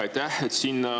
Aitäh!